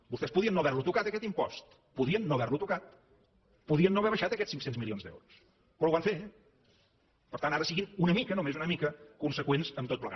vostès podien no haver lo tocat aquest impost podien no haver lo tocat podien no haver abaixat aquests cinc cents milions d’euros però ho van fer per tant ara siguin una mica només una mica conseqüents amb tot plegat